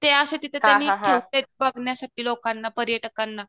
ते असे तिथं त्यांनी ठेवलेत बघण्यासाठी लोकांना पर्यटकांना.